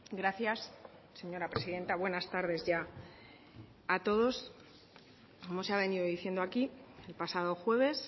gracias señora presidenta buenas tardes ya a todos como se ha venido diciendo aquí el pasado jueves